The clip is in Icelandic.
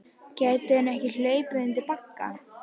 Gæti hún ekki hlaupið undir bagga?